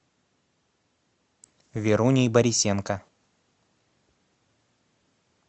веруней борисенко